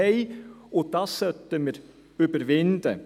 Dieses sollten wir überwinden.